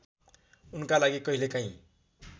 उनका लागि कहिलेकाही